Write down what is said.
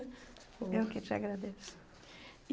Eu que te agradeço.